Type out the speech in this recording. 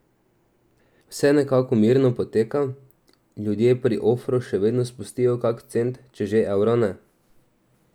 Vse nekako mirno poteka, ljudje pri ofru še vedno spustijo kak cent, če že evra ne.